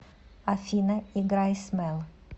афина играй смел